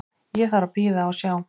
Ég þarf að bíða og sjá.